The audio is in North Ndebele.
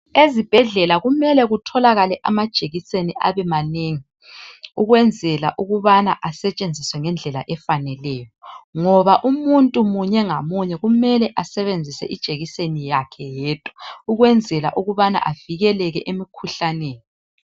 Ezibhedlela kumele kutholakale amajekiseni abe manengi ukwenzela ukusebenzisa ngendlela efaneleyo ngoba umuntu munye ngamunye kumele asebenzise ijekiseni yakhe yedwa ukwenzela ukubana avikeleke emkhuhlaneni.